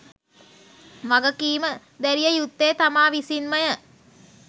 වගකීම දැරිය යුත්තේ තමා විසින්මය.